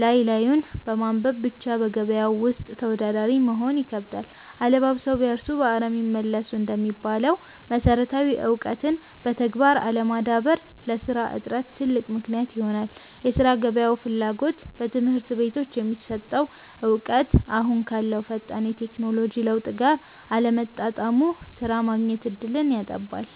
ላይ ላዩን በማንበብ ብቻ በገበያው ውስጥ ተወዳዳሪ መሆን ይከብዳል። 'አለባብሰው ቢያርሱ በአረም ይመለሱ' እንደሚባለው፣ መሰረታዊ እውቀትን በተግባር አለማዳበር ለሥራ እጥረት ትልቅ ምክንያት ይሆናል የሥራ ገበያው ፍላጎት፦ በትምህርት ቤቶች የሚሰጠው እውቀት አሁን ካለው ፈጣን የቴክኖሎጂ ለውጥ ጋር አለመጣጣሙ ሥራ የማግኘት ዕድልን ያጠባል።